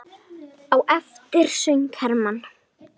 Á eftir söng Hermann